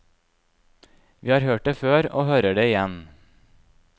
Vi har hørt det før, og hører det igjen.